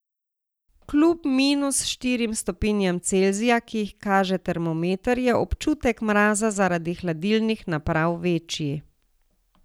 Kljub minus štirim stopinjam Celzija, ki jih kaže termometer, je občutek mraza zaradi hladilnih naprav večji.